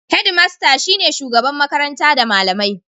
Hedmasta shine shugabar makaranta da malamai.